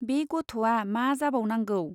बे गथ'वा मा जाबावनांगौ ?